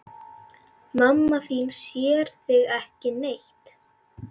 Mamma þín sér þig ekki neitt.